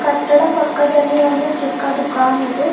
ಕಟ್ಟಡ ಪಕ್ಕದಲ್ಲಿ ಒಂದು ಚಿಕ್ಕ ದುಕಾನ್ ಇದೆ.